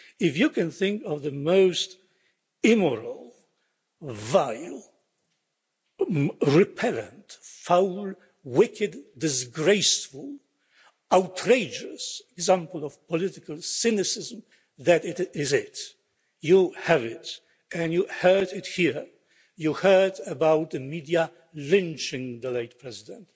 us. If you can think of the most immoral, vile, repellent, foul, wicked, disgraceful, outrageous example of political cynicism that is it, you have it, and you heard it here, you heard about the media lynching the late president.